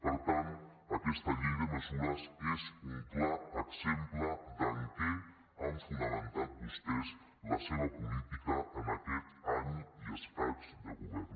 per tant aquesta llei de mesures és un clar exemple de en què han fonamentat vostès la seva política en aquest any i escaig de govern